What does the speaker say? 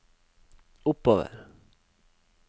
oppover